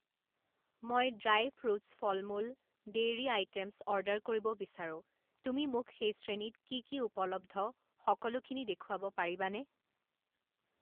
মই dry fruits ফলমূল, dairy items order কৰিব বিচাৰোঁ তুমি মোক সেই শ্ৰেণীত কি কি উপলব্ধ সকলোখিনি দেখুৱাব পাৰিবানে?